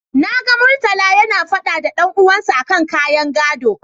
Na ga Murtala yana faɗa da dan uwansa a kan ƙayan gaɗo.